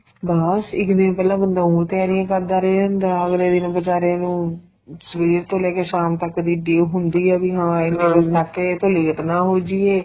ਬੱਸ ਇੱਕ ਦਿਨ ਪਹਿਲਾਂ ਬੰਦਾ ਉ ਤਿਆਰੀਆਂ ਕਰਦਾ ਰਹੀ ਜਾਂਦਾ ਅਗਲੇ ਦਿਨ ਬੀਚਾਰੇ ਨੂੰ ਸਵੇਰ ਤੋਂ ਲੈ ਕੇ ਸ਼ਾਮ ਤੱਕ ਦੀ ਉਡੀਕ ਹੁੰਦੀ ਏ ਵੀ ਹਾਂ ਇਹ ਨਾ ਲਾ ਕੇ ਕਈ ਲੇਟ ਨਾ ਹੋ ਜਾਈਏ